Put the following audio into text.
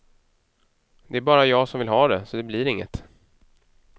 Det är bara jag som vill ha det, så det blir inget.